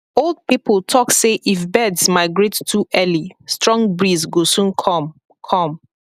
old people talk say if birds migrate too early strong breeze go soon come come